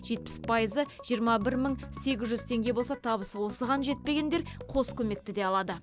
жетпіс пайызы жиырма бір мың сегіз жүз теңге болса табысы осыған жетпегендер қос көмекті де алады